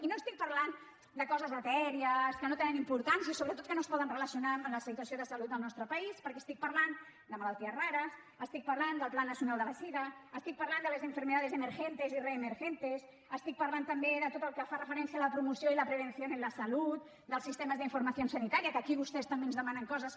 i no estic parlant de coses etèries que no tenen importància sobretot que no es poden relacionar amb la situació de salut del nostre país perquè estic parlant de malalties rares estic parlant del pla nacional de la sida estic parlant de las enfermedades emergentes y reemergentes estic parlant també de tot el que fa referència a la promoció i la prevención en la salud dels sistemes de información sanitaria que aquí vostès també ens demanen coses